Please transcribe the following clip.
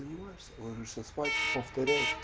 да не парься ложишься спать повторяешь